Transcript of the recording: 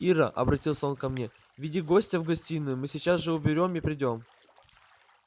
ира обратился он ко мне веди гостя в гостиную мы сейчас все уберём и придём